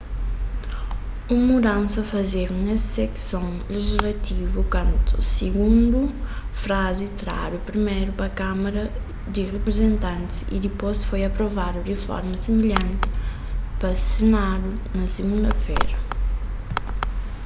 un mudansa fazedu nes sekson lejislativu kantu sigundu frazi tradu priméru pa kámara di riprizentantis y dipôs foi aprovadu di forma similhanti pa senadu na sigunda-fera